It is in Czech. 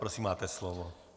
Prosím, máte slovo.